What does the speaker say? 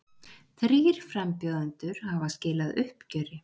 Þrír frambjóðendur hafa skilað uppgjöri